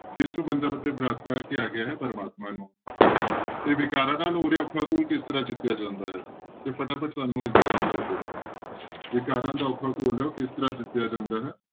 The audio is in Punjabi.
ਕਿਸ ਨੂੰ ਬੰਧਪ ਅਤੇ ਭ੍ਰਾਤਾ ਕਿਹਾ ਗਿਆ ਹੈ ਪ੍ਰਮਾਤਮਾ ਨੂੰ ਤੇ ਵਿਕਾਰਾਂ ਨਾਲ ਹੋ ਰਿਹਾ ਔਖਾ ਘੋਲ ਕਿਸ ਤਰ੍ਹਾਂ ਜਿੱਤਿਆ ਜਾਂਦਾ ਹੈ, ਤੇ ਫਟਾਫਟ ਸਾਨੂੰ ਇਸਦਾ answer ਦਿਓ ਵਿਕਾਰਾਂ ਦਾ ਔਖਾ ਘੋਲ ਕਿਸ ਤਰ੍ਹਾਂ ਜਿਤਿਆ ਜਾਂਦਾ ਹੈ?